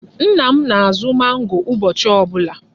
Nna m na-azụ mangoo ụbọchị ọ bụla.